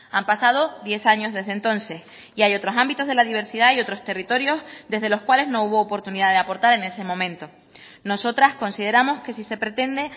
han pasado diez años desde entonces y hay otros ámbitos de la diversidad y otros territorios desde los cuales no hubo oportunidad de aportar en ese momento nosotras consideramos que si se pretende